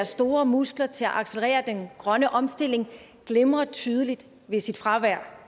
store muskler til at accelerere den grønne omstilling glimrer tydeligt ved sit fravær